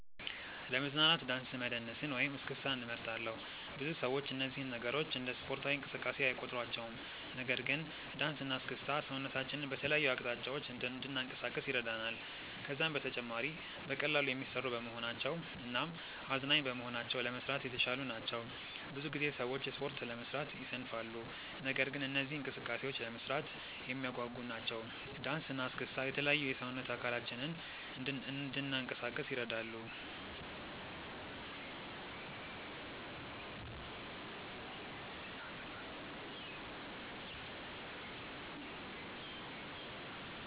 ለመዝናናት ዳንስ መደነስን ወይም እስክስታን እመርጣለሁ። ብዙ ሰዎች እነዚህን ነገሮች እንደ ስፖርታዊ እንቅስቃሴ አይቆጥሯቸውም። ነገር ግን ዳንስ እና እስክስታ ሰውነታችንን በተለያዩ አቅጣጫዎች እንድናንቀሳቅስ ይረዳናል። ከዛም በተጨማሪ በቀላሉ የሚሰሩ በመሆናቸው እናም አዝናኝ በመሆናቸው ለመስራት የተሻሉ ናቸው። ብዙ ጊዜ ሰዎች ስፖርት ለመስራት ይሰንፋሉ። ነገር ግን እነዚህ እንቅስቃሴዎች ለመስራት የሚያጓጉ ናቸው። ዳንሰ እና እስክስታ የተለያዩ የሰውነት አካላችንን እንናንቀሳቀስ ይረዱናል።